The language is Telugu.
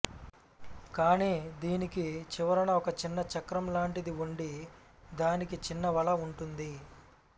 కాని దీనికి చివరన ఒకచిన్న చక్రం లాంటిది వుండి దానికి చిన్న వల వుంటుంది